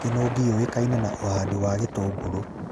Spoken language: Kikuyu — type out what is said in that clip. Kĩnũngi yũĩkine na ũhandi wa gĩtũngũrũ